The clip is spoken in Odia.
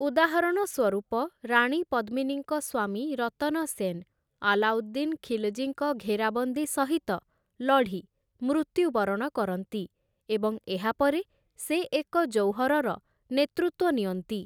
ଉଦାହରଣ ସ୍ୱରୂପ, ରାଣୀ ପଦ୍ମିନୀଙ୍କ ସ୍ୱାମୀ ରତନ ସେନ୍ ଆଲାଉଦ୍ଦିନ ଖିଲଜୀଙ୍କ ଘେରାବନ୍ଦୀ ସହିତ ଲଢ଼ି ମୃତ୍ୟୁବରଣ କରନ୍ତି, ଏବଂ ଏହା ପରେ ସେ ଏକ ଜୌହରର ନେତୃତ୍ୱ ନିଅନ୍ତି ।